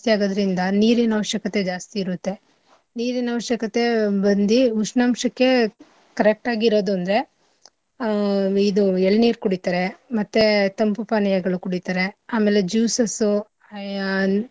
ಆಗೋದ್ರಿಂದ ನೀರಿನ ಅವಶ್ಯಕತೆ ಜಾಸ್ತಿ ಇರುತ್ತೆ ನೀರಿನ ಅವಶ್ಯಕತೆ ಬಂದಿ ಉಷ್ಣಾಂಶಕ್ಕೆ correct ಆಗಿ ಇರೋದಂದ್ರೆ ಆ ಇದು ಎಳ್ನೀರ್ ಕುಡಿತಾsರೆ ಮತ್ತೇ ತಂಪು ಪಾನೀಯಗಳು ಕುಡಿತಾರೆ ಆಮೇಲೆ juices ಉ ಆ.